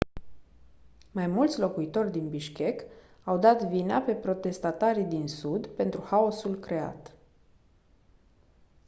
mai mulți locuitori din bishkek au dat vina pe protestatarii din sud pentru haosul creat